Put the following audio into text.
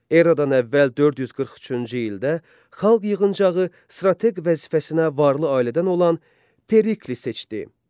Eradan əvvəl 443-cü ildə xalq yığıncağı strateq vəzifəsinə varlı ailədən olan Perikli seçdi.